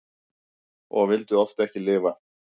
Og vildi oft ekki lifa.